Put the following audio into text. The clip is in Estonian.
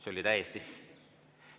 See oli täiesti siiras.